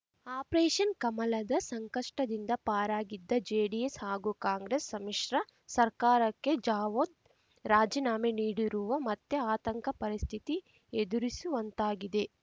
operation ಕಮಲದ ಸಂಕಷ್ಟದಿಂದ ಪಾರಾಗಿದ್ದ ಜೆಡಿಎಸ್ ಹಾಗೂ ಕಾಂಗ್ರೆಸ್ ಸಮ್ಮಿಶ್ರ ಸರ್ಕಾರಕ್ಕೆ ಜಾವದ್ ರಾಜೀನಾಮೆ ನೀಡಿರುವ ಮತ್ತೆ ಆತಂಕ ಪರಿಸ್ಥಿತಿ ಎದುರಿಸುವಂತಾಗಿದೆ